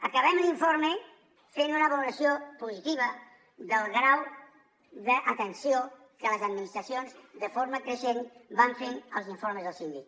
acabem l’informe fent una valoració positiva del grau d’atenció que les administracions de forma creixent van fent als informes del síndic